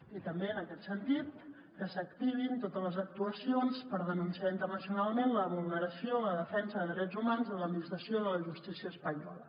i també en aquest sentit que s’activin totes les actuacions per denunciar internacionalment la vulneració en la defensa de drets humans de l’administració de la justícia espanyola